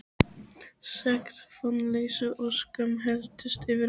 Sekt, vonleysi og skömm helltist yfir mig.